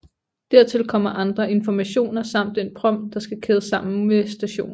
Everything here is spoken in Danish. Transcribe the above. Dertil kommer andre informationer samt den prompt der skal kædes sammen med stationen